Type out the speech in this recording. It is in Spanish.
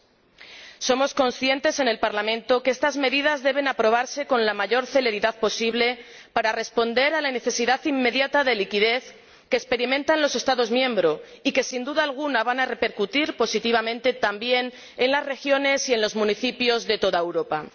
En el Parlamento somos conscientes de que estas medidas deben aprobarse con la mayor celeridad posible para responder a la necesidad inmediata de liquidez que experimentan los Estados miembros y somos conscientes de que, sin duda alguna, van a repercutir positivamente también en las regiones y en los municipios de toda Europa.